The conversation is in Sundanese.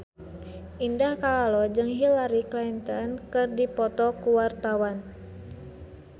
Indah Kalalo jeung Hillary Clinton keur dipoto ku wartawan